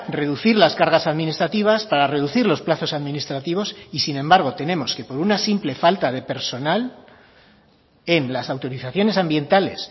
reducir las cargas administrativas para reducir los plazos administrativos y sin embargo tenemos una simple falta de personal en las autorizaciones ambientales